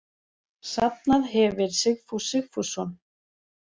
Safnað hefir Sigfús Sigfússon.